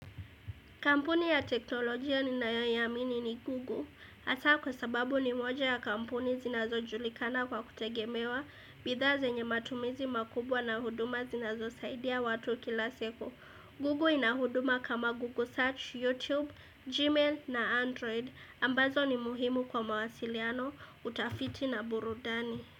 Kampuni ya teknolojia ninayo iamini ni Google. Hasa kwa sababu ni moja ya kampuni zinazojulikana kwa kutegemewa bidha zenye matumizi makubwa na huduma zinazo saidia watu kila siku. Google inahuduma kama Google Search, YouTube, Gmail na Android. Ambazo ni muhimu kwa mawasiliano, utafiti na burudani.